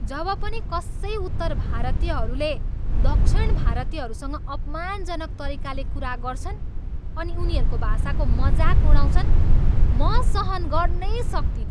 जब पनि कसै उत्तर भारतीयहरूले दक्षिण भारतीयहरूसँग अपमानजनक तरिकाले कुरा गर्छन् अनि उनीहरूको भाषाको मजाक उडाउँछन्, म सहन गर्नै सक्तिनँ।